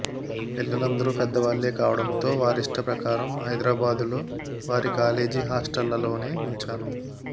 పిల్లలిద్దరూ పెద్దవాళ్లే కావడంతో వారిష్ట ప్రకారం హైదరాబాదులో వారి కాలేజి హాస్టళ్లలోనే ఉంచాను